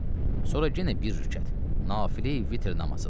Sonra yenə bir rükət nafilə vitr namazıdır.